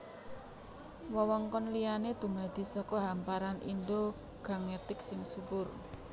Wewengkon liyané dumadi saka hamparan Indo Gangetik sing subur